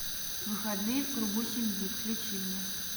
выходные в кругу семьи включи мне